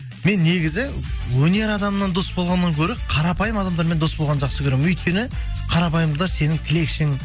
мен негізі өнер адамнан дос болғаннан гөрі қарапайым адамдармен дос болғанды жақсы көремін өйткені қарапайымдылар сенің тілекшің